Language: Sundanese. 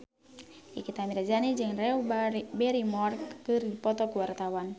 Nikita Mirzani jeung Drew Barrymore keur dipoto ku wartawan